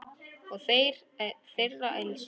Þór er þeirra elstur.